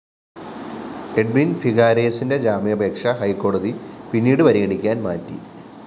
Edwin‍ ഫിഗാരേസിന്റെ ജാമ്യാപേക്ഷ ഹൈക്കോടതി പിന്നീടു പരിഗണിക്കാന്‍ മാറ്റി